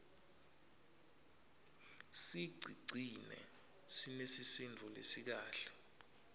sicigcine sinesisindvo lesikahle